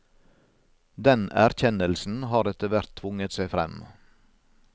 Den erkjennelsen har etter hvert tvunget seg frem.